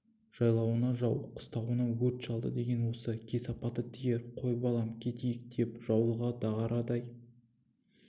жайлауыңды жау қыстауыңды өрт шалды деген осы да кесапаты тиер қой балам кетейік деп жаулығы дағарадай